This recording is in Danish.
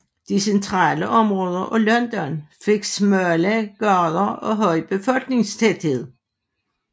De centrale områder af London fik smalle gader og høj befolkningstæthed